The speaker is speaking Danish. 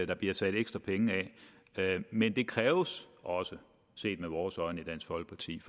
der bliver sat ekstra penge af men det kræver også også set med vores øjne i dansk folkeparti